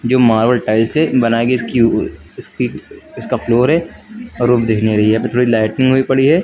जो marble tiles से बनाई गई इसकी इसकी इसका फ्लोर है और वो दिख नहीं रही है हुई पड़ी है।